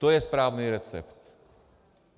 To je správný recept.